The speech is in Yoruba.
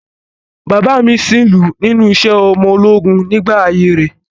Bàbáà mi sìnlú nínú iṣẹ́ ọmọ ológun nígbà ayé rẹ̀.